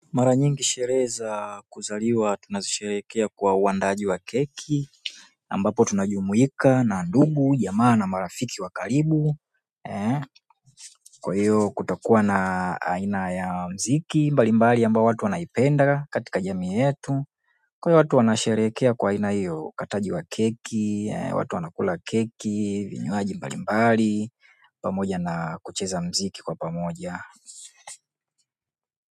Mara nyingi sherehe za kuzaliwa tunasherehekea kwa uandaaji wa keki ambapo tunajumuika na ndugu, jamaa na marafiki wa karibu kwa hiyo kutakuwa na aina ya muziki mbalimbali ambao watu wanaipenda katika jamii yetu. Kwa hiyo watu wanasherehekea kwa aina hiyo ukataji wa keki, watu wanakula keki, vinywaji mbalimbali, pamoja na kucheza muziki kwa pamoja.